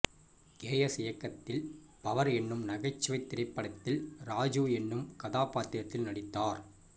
K S இயக்கத்தில் Power எனும் நகைச்சுவைத் திரைப்படத்தில் ராஜீவ் எனும் கதாப்பாத்திரத்தில் நடித்தார்